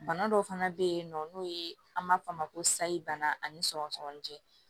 Bana dɔw fana bɛ yen nɔ n'o ye an b'a f'o ma ko sayi bana ani sɔgɔsɔgɔnijɛ